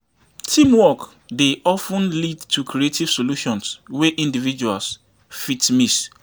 Teamwork dey of ten lead to creative solutions wey individuals fit miss.